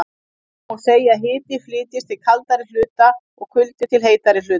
Þá má segja að hiti flytjist til kaldari hluta og kuldi til heitari hluta.